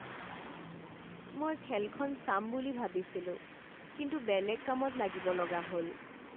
মই খেলখন চাম বুলি ভাবিছিলোঁ কিন্তু বেলেগ কামত লাগিব লগা হ'ল।